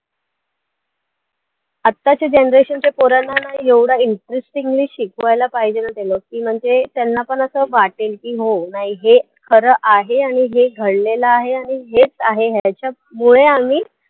आताच्या generation च्या पोरांना ना एवढं interestingly ने शिकवायला पाहिजे ना ते लोकं की म्हणजे त्यांना पण असं वाटेल की हो नाही हे खरं आहे आणि हे घडलेलं आहे आणि हेच आहे ह्याच्यामुळे आम्ही